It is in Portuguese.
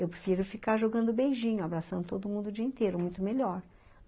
Eu prefiro ficar jogando beijinho, abraçando todo mundo o dia inteiro, muito melhor.